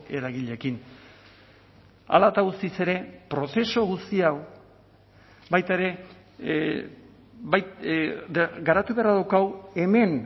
eragileekin hala eta guztiz ere prozesu guzti hau baita ere garatu beharra daukagu hemen